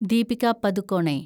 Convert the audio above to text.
Deepika Padukone